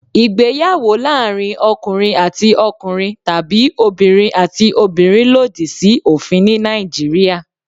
Ìgbéyàwó láàárín ọkùnrin àti ọkùnrin tàbí obìnrin àti obìnrin lòdì sí òfin ní Nàìjíríà.